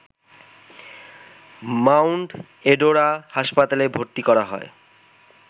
mound Adora হাসপাতালে ভর্তি করা হয়